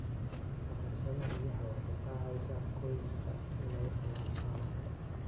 Dhaqashada riyaha waxay ka caawisaa qoysaska inay helaan caano kale.